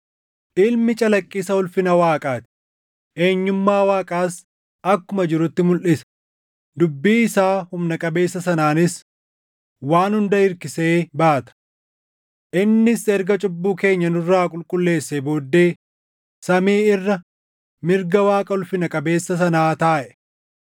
Ilmi calaqqisa ulfina Waaqaa ti; eenyummaa Waaqaas akkuma jirutti mulʼisa; dubbii isaa humna qabeessa sanaanis waan hunda hirkisee baata. Innis erga cubbuu keenya nurraa qulqulleessee booddee samii irra mirga Waaqa ulfina qabeessa sanaa taaʼe.